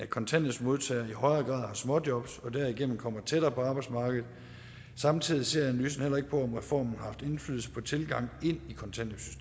kontanthjælpsmodtagere i højere grad har småjob og derigennem kommer tættere på arbejdsmarkedet samtidig ser analysen heller ikke på om reformen har haft indflydelse på tilgangen